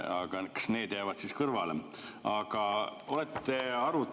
Kas need jäävad siis kõrvale?